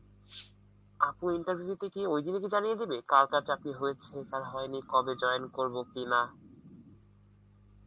interview তে কি ঐদিন ই জানিয়ে দেবে, কার কার চাকরি হয়েছে কার হয়েনি, কবে জিন করবো কি না